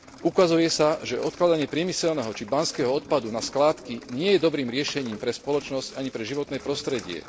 Ukazuje sa, že odkladanie priemyselného či banského odpadu na skládky nie je dobrým riešením pre spoločnosť ani pre životné prostredie.